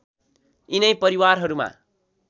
यिनै परिवारहरूमा